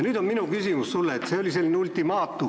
Ma saan aru, et see oli ultimaatum.